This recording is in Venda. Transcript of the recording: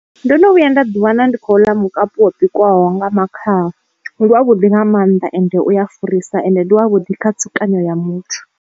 Ndo no vhuya nda ḓi wana ndi khou ḽa mukapu wa bikwaho nga makhaha ndi wa vhuḓi nga mannḓa ende uya farisa ende ndi wa vhudi kha tsukonyo ya muthu.